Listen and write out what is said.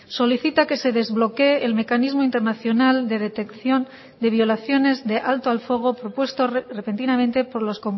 solicita que se desbloquee el mecanismo internacional de detección de violaciones de alto al fuego propuesto repentinamente por los